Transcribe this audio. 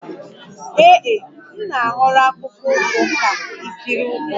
Ee e, m na-ahọrọ akpụkpọ ụkwụ ka ikiri ụkwụ